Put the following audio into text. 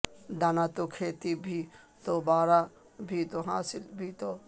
دانہ تو کھیتی بھی تو باراں بھی تو حاصل بھی تو